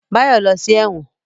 Báyọ̀ lọ sí ẹ̀wọ̀n